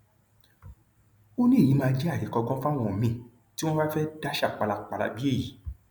ó ní èyí máa jẹ àríkọgbọn fáwọn míín tí wọn bá fẹẹ dàṣà pálapàla bíi èyí